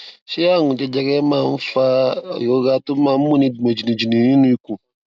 ṣé àrùn jẹjẹrẹ máa ń fa ìrora tó máa ń múni gbòn jìnnìjìnnì nínú ikùn